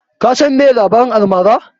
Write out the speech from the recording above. Ka san meye labarin almara?